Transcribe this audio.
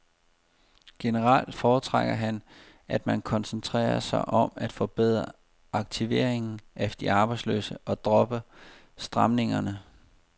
Generelt foretrækker han, at man koncentrerer sig om at forbedre aktiveringen af de arbejdsløse og dropper stramningerne.